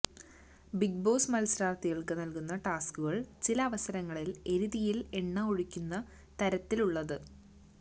big Boss മത്സാരാർഥികൾക്ക് നൽകുന്ന ടാസ്ക്കുകൾ ചില അവസരങ്ങളിൽ എരി തീയിൽ എണ്ണ ഒഴിക്കുന്ന തരത്തിലുളളത്